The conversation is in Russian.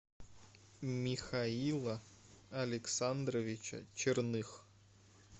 михаила александровича черных